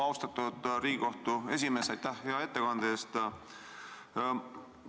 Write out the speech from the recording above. Austatud Riigikohtu esimees, aitäh hea ettekande eest!